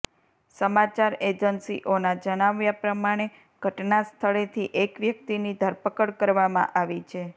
સમાચાર એજન્સીઓના જણાવ્યા પ્રમાણે ઘટનાસ્થળેથી એક વ્યક્તિની ધરપકડ કરવામાં આવી છે